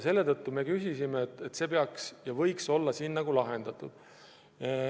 Selle tõttu me arvasime, et see peaks olema lahendatud.